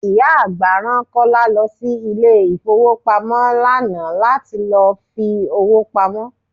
Ìyá àgbà rán Kọ́lá lọ sí ilé ifowopamo lánàá láti lọ fi owó pamó.